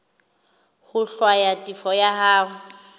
ho hlwaya tefo ya hao